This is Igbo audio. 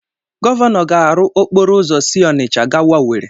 Gọvanọ ga-arụ okporo ụzọ si Ọnịcha gawa Ọweri.